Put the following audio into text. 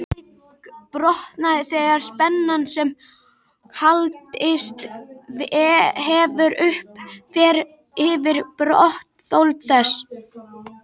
Berg brotnar þegar spenna sem hlaðist hefur upp, fer yfir brotþol þess.